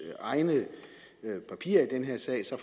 egne papirer i den her sag ser